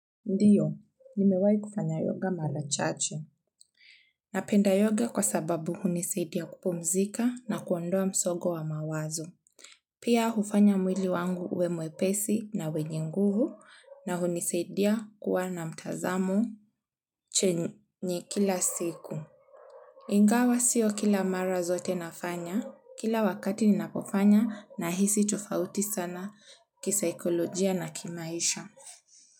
Ndiyo, nimewahi kufanya yoga mara chache. Napenda yoga kwa sababu hunisaidia kupumzika na kuondoa msongo wa mawazo. Pia hufanya mwili wangu uwe mwepesi na wenye nguvu na hunisaidia kuwa na mtazamo chenye kila siku. Ingawa sio kila mara zote nafanya kila wakati ninapofanya nahisi tofauti sana kisaikolojia na kimaisha.